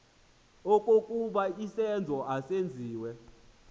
okokuba isenzo masenziwe